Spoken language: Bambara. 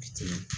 Bi ten